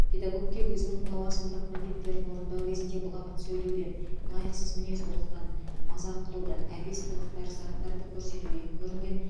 педагогке өзінің лауазымдық міндеттерін орындау кезінде былапыт сөйлеуден лайықсыз мінез құлықтан мазақ қылудан әбес қылықтар заттарды көрсетуден көрінген